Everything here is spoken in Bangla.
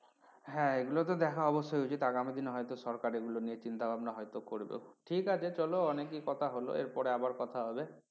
হ্যাঁ এগুলো তো দেখা অবশ্যই উচিত আগামী দিনে হয়তো সরকার এগুলো নিয়ে চিন্তা ভাবনা হয়তো করবে ঠিক আছে চলো অনেকেই কথা হল এর পরে আবার কথা হবে।